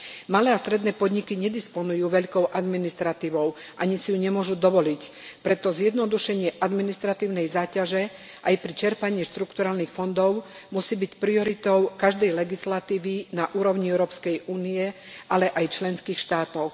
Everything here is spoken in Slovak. Malé a stredné podniky nedisponujú veľkou administratívou, ani si ju nemôžu dovoliť, preto zjednodušenie administratívnej záťaže aj pri čerpaní štrukturálnych fondov musí byť prioritou každej legislatívy na úrovni Európskej únie, ale aj členských štátov.